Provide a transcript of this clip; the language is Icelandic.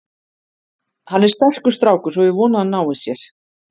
Hann er sterkur strákur, svo ég vona að hann nái sér.